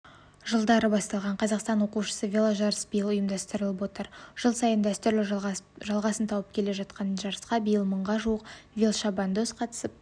жылдары басталған қазақстан оқушысы веложарысы биыл ұйымдастырлып отыр жыл сайын дәстүрлі жалғасын тауып келе жатқан жарысқа биыл мыңға жуық велошабандоз қатысып